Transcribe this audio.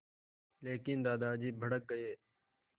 लेकिन दादाजी भड़क गए